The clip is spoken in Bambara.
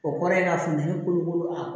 O kɔrɔ ye k'a funtɛni kolokolo a